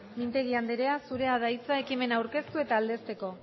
mintegi andrea zurea da hitza ekimena aurkeztu eta aldezteko